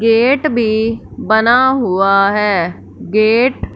gate भी बना हुआ है गेट --